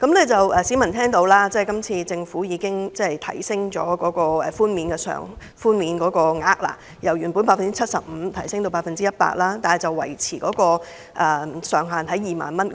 政府今次建議提高稅務寬免百分比，由原本的 75% 提高至 100%， 但每宗個案的寬免上限維持在2萬元。